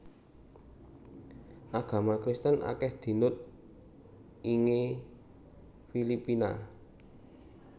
Agama Kristen akèh dinut ingè Filipina